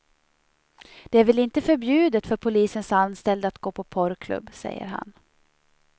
Det är väl inte förbjudet för polisens anställda att gå på porrklubb, säger han.